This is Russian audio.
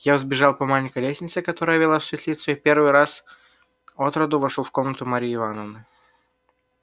я взбежал по маленькой лестнице которая вела в светлицу и в первый раз отроду вошёл в комнату марьи ивановны